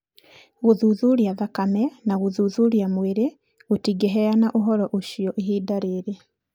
Gũthuthuria thakame na gũthuthuria mwĩrĩ gũtingĩheana ũhoro ũcio ihinda-inĩ rĩrĩ.